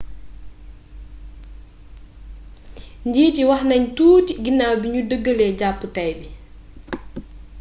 njiit yi wax nañ tuuti ginaw bi ñu dëgalee jàppu tay bi